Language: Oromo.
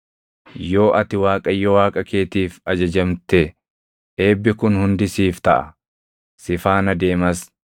Yoo ati Waaqayyo Waaqa keetiif ajajamte eebbi kun hundi siif taʼa; si faana deemas: